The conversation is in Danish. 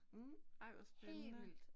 Mh, ej hvor spændende